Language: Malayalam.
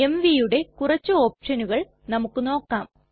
mvയുടെ കുറച്ചു ഓപ്ഷനുകൾ നമുക്ക് നോക്കാം